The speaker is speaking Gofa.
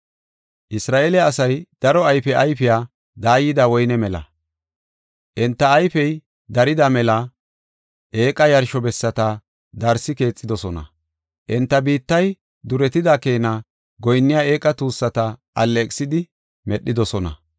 Isra7eele asay daro ayfe ayfiya daayida woyne mela; enta ayfey darida mela eeqa yarsho bessata darsi keexidosona. Enta biittay duretida keena goyinniya eeqa tuussata alleeqisidi medhidosona.